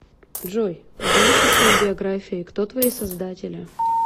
джой поделишься своей биографией кто твои создатели